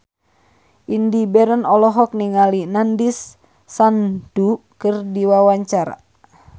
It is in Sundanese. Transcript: Indy Barens olohok ningali Nandish Sandhu keur diwawancara